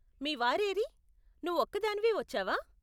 మీ వారు ఏరీ, నువ్వు ఒక్కదానివే వచ్చావా?